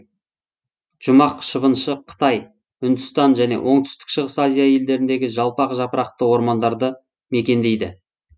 жұмақ шыбыншы қытай үндістан және оңтүстік шығыс азия елдеріндегі жалпақ жапырақты ормандарды мекендейді